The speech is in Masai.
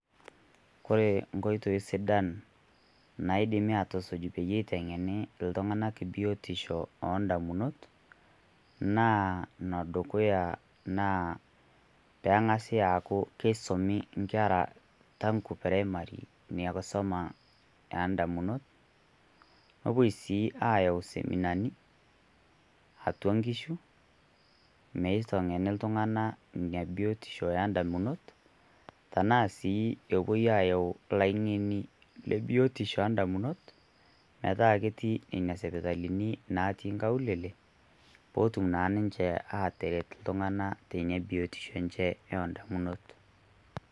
Kore nkoitoo sidaan naidimi atusuj peyie eiteng'eni ltung'ana biotisho o ndamunoot, naa nodukuya naa pee ang'asi aaku keisomi nkerra taangu preimaria enia nkisoma e ndaamunoot. Nepoo sii ayau seminani atua nkishuu meiteng'eni ltung'ana enia biotisho e ndaamunot. Tanaa sii poo opoii ayau laing'eni le biotisho le ndaamunot metaa ketii nenia sipitalini naatii nkaulele pootum naa ninchee ateret ltung'ana tenia biotisho enchee o ndamunoot.